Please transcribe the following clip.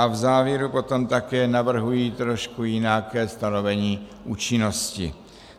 A v závěru potom také navrhuji trošku jinak stanovení účinnosti.